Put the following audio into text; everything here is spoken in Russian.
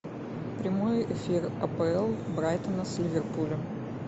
прямой эфир апл брайтона с ливерпулем